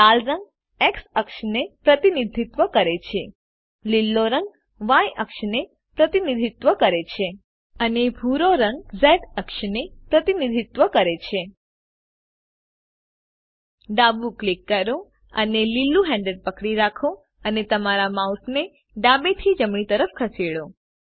લાલ રંગ એક્સ અક્ષને પ્રતિનિધિત્વ કરે છે લીલો રંગ ય અક્ષને પ્રતિનિધિત્વ કરે છે અને ભૂરો રંગ ઝ અક્ષને પ્રતિનિધિત્વ કરે છે ડાબું ક્લિક કરો અને લીલુ હેન્ડલ પકડી રાખો અને તમારા માઉસને ડાબેથી જમણી તરફ ખસેડો